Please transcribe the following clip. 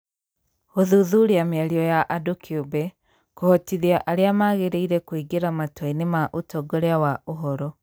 Gũthuthuria mĩario ya andũ kĩũmbe, kũhotithia arĩa magĩrĩire kũingĩra matua-inĩ ma ũtongoria wa ũhoro.